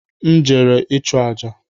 M jere ịchụọ àjà